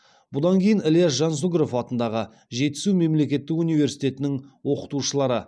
бұдан кейін ільяс жансүгіров атындағы жетісу мемлекеттік университетінің оқытушылары